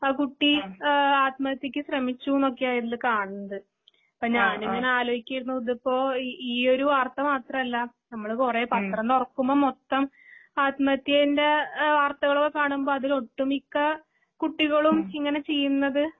ആകുട്ടീ ഏഹ് ആത്മഹത്യക്ക്ശ്രമിച്ചൂന്നൊക്കെയായിതിൽകാണുന്നത്. ഇപ്പഞാനിങ്ങനെആലോയിക്കയാരുന്നുഇതിപ്പോ ഇഈയൊരുവാർത്തമാത്രല്ലാ നമ്മള്കുറേപത്രംതുറക്കുമ്പംമൊത്തം ആത്മഹത്യെന്റെ ഏഹ് വാർത്തകളോകാണുമ്പം അതിലൊട്ടുമിക്ക കുട്ടികളും ഇങ്ങനെചെയ്യുന്നത്